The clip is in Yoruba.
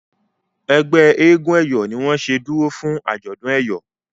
ẹgbẹ éégun eyọ ní wón ṣe dúró fún ajọdún eyọ.